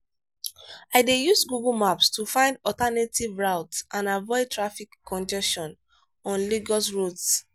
i dey use google maps to find alternative routes and avoid traffic congestion on lagos roads.